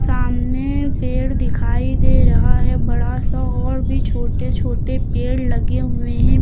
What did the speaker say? सामने पेड़ दिखाई दे रहा है बड़ा सा और भी छोटे छोटे पेड़ लगे हुएं हैं।